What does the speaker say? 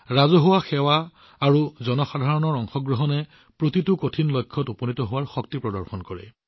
ৰাজহুৱা সেৱা আৰু জনসাধাৰণৰ অংশগ্ৰহণৰ এই শক্তিয়ে নিশ্চিতভাৱে প্ৰতিটো কঠিন লক্ষ্যত উপনীত কৰে